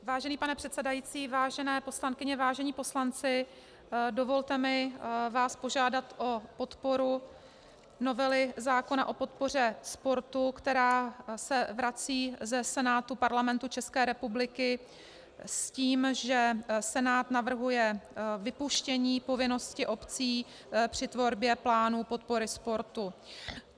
Vážený pane předsedající, vážené poslankyně, vážení poslanci, dovolte mi vás požádat o podporu novely zákona o podpoře sportu, která se vrací ze Senátu Parlamentu České republiky s tím, že Senát navrhuje vypuštění povinnosti obcí při tvorbě plánu podpory sportu.